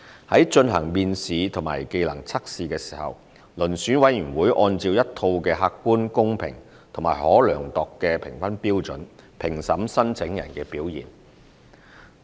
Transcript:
在進行面試及技能測試時，遴選委員會按照一套客觀、公平及可量度的評分標準，評審申請人的表現。